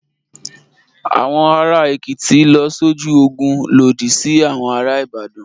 Àwọn ará Èkìtì lọ sójú ogun lòdì sí àwọn ará Ìbàdàn.